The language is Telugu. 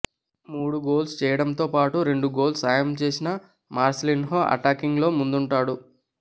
మూడు గోల్స్ చేయడంతోపాటు రెండు గోల్స్లో సాయం చేసిన మార్సిలిన్హో అటాకింగ్ లో ముందుంటాడు